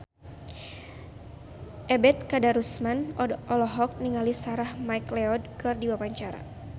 Ebet Kadarusman olohok ningali Sarah McLeod keur diwawancara